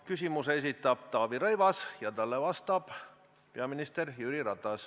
Küsimuse esitab Taavi Rõivas ja talle vastab peaminister Jüri Ratas.